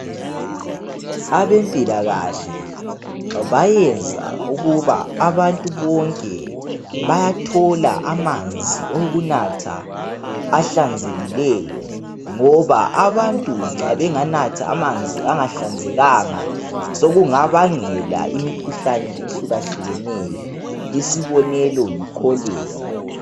Abempilakahle bayenza ukuba abantu bonke bayathola amanzi okunatha ahlanzekileyo ngoba abantu nxa benganatha amanzi angahlanzekanga .Sokungabangela imikhuhlane ehlukahlukeneyo .Isibonelo yi cholera .